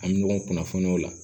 An bɛ ɲɔgɔn kunnafoniya o la